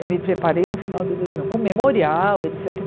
Eu me preparei no final de dois mil e um, com memorial, et cétera.